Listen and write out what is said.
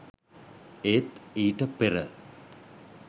ඒත් ඊට පෙර